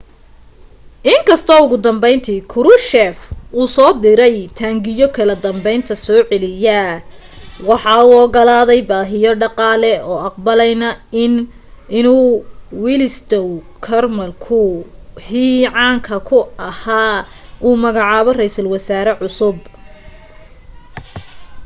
in kastoo ugu dambayntii krushchev uu soo diray taangiyo kala danbaynta soo celiya waxa uu ogolaaday baahiyo dhaqaale oo aqbalayna inuu wladyslaw gomulka hii caanka ahaa u magacaabo ra'iisal wasaare cusub